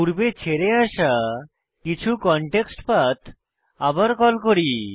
পূর্বে ছেড়ে আসা কিছু কনটেক্সটপাথ আবার কল করি